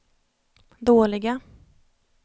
dåliga